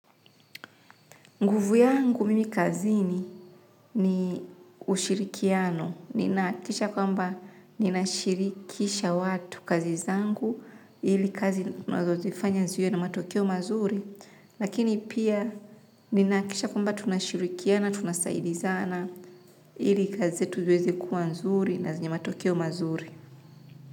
Nguvu yangu mimi kazini ni ushirikiano, ninahakikisha kwamba ninashirikisha watu kazi zangu, ili kazi tunazozifanya ziwe na matokeo mazuri, lakini pia ninahakikisha kwamba tunashirikiana, tunasaidizana, ili kazi yetu liwezi kuwa nzuri na zinye matokeo mazuri.